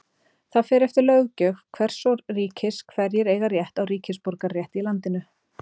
það fer eftir löggjöf hvers ríkis hverjir eiga rétt á ríkisborgararétti í landinu